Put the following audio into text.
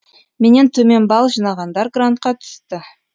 менен төмен балл жинағандар грантқа түсті